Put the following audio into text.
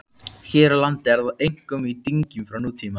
Hér á landi er það einkum í dyngjum frá nútíma.